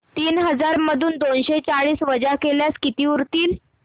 तीन हजार मधून दोनशे चाळीस वजा केल्यास किती उरतील